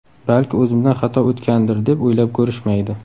Balki o‘zimdan xato o‘tgandir deb o‘ylab ko‘rishmaydi.